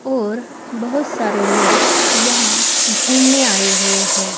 और बहुत सारे लोग यहां घूमने आए हुए हैं।